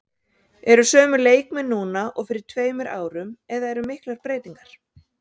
Eru sömu leikmenn núna og fyrir tveimur árum eða eru miklar breytingar?